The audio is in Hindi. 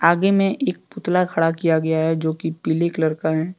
आगे में एक पुतला खड़ा किया गया है जो कि पीले कलर का है।